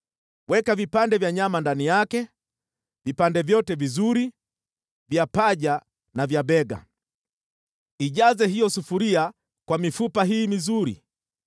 Weka vipande vya nyama ndani yake, vipande vyote vizuri, vya paja na vya bega. Ijaze hiyo sufuria kwa mifupa hii mizuri;